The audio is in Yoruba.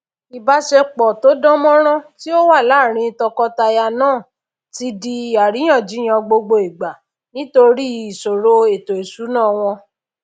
ìbásepò tódán mórán tí ó wà láàrin tokọtaya náà ti di àríyànjiyàn gbogbo ìgbà nítorí ìsòrò ètò ìsúnà wòn